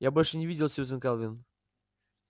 я больше не видел сьюзен кэлвин